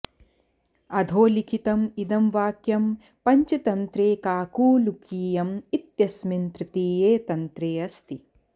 अधोलिखितम् इदं वाक्यं पञ्चतन्त्रे काकोलूकीयं इत्यस्मिन् तृतीये तन्त्रे अस्ति